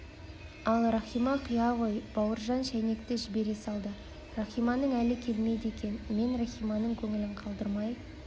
ал рахима құя ғой бауыржан шәйнекті жібере салды рахиманың әлі келмейді екен мен рахиманың көңілін қалдырмайын